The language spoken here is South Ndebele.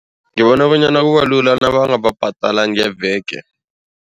Ngibona bonyana kubalula nabangababhadala ngeveke.